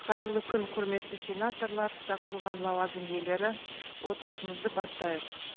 қайырлы күн құрметті сенаторлар шақырылған лауазым иелері отырысымызды бастайық